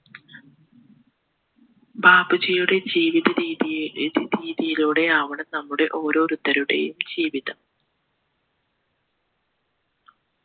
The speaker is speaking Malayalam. ബാപ്പുജിയുടെ ജീവിത രീതിയെ രീതിയിലൂടെയാവണം നമ്മുടെ ഓരോരുത്തരുടെയും ജീവിതം